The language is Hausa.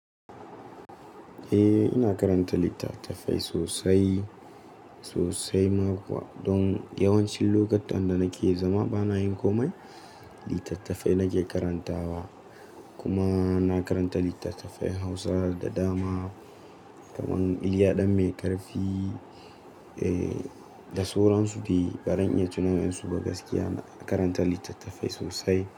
Eh, ina karanta littattafai sosai, sosai ma kuwa. Don yawancin lokutan da nake zama bana yin komai, littattafai nake karantawa. Kuma na karanta littattafai Hausa da dama, kamar Iliya Danmaikarfi, eh, da Suransu di. Baran iya tuna sunansu ba gaskiya, na karanta littattafai sosai.